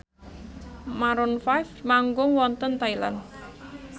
Maroon 5 manggung wonten Thailand